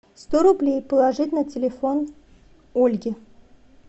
сто рублей положить на телефон ольги